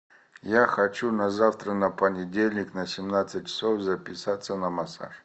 я хочу на завтра на понедельник на семнадцать часов записаться на массаж